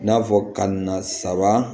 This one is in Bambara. I n'a fɔ ka na saba